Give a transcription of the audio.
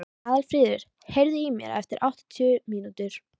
Aðalfríður, heyrðu í mér eftir áttatíu mínútur.